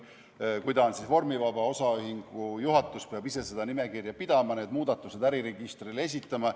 Kui ta on vormivaba, siis osaühingu juhatus peab ise seda nimekirja pidama ja need muudatused äriregistrile esitama.